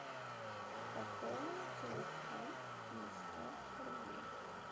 пополни телефон на сто рублей